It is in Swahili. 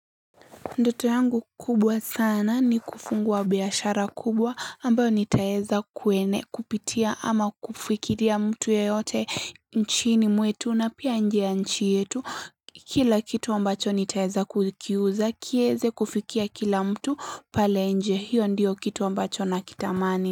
Ndoto yangu kubwa sana ni kufungua biashara kubwa, ambayo nitaeza kuwene kupitia ama kufikiria mtu yeyote nchini mwetu na pia inje ya nchi yetu kila kitu ambacho nitaeza kukiuza kieze kufikia kila mtu pale nje hiyo ndiyo kitu ambacho na kitamani.